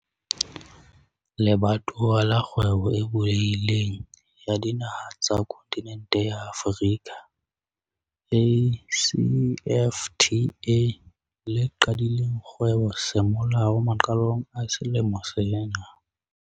Le batowa la Kgwebo e Bulehi leng ya Dinaha tsa Kontinente ya Afrika, ACFTA, le qadileng kgwebo semolao maqalong a selemo sena.